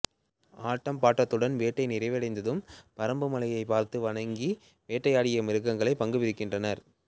ஆட்டம் பாட்டத்துன் வேட்டை நிறைவடைந்து பறம்புமலையை பார்த்து வணங்கி வேட்டையாடி மிருங்களை பங்கு பிரிக்கின்றனர்